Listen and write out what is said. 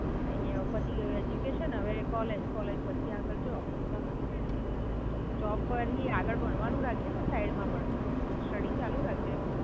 કઈ નહીં હવે પતિ ગયું એડ્યુકેશન, હવે કોલેજ, કોલેજ પછી આગળ જોબ, જોબ કરતાં આગળ ભણવાનું રાખજે ને સાઇડ માં પણ, સ્ટડિ ચાલુ રાખજે.